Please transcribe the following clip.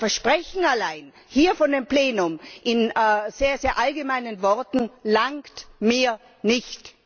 Ein Versprechen allein, hier vor dem Plenum in sehr allgemeinen Worten, langt mir nicht!